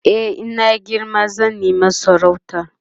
e in na girma zan nema sarauta